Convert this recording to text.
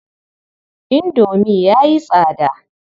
Indomi ya yi tsada.